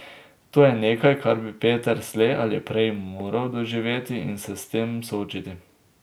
To je nekaj, kar bi Peter slej ali prej moral doživeti in se s tem soočiti.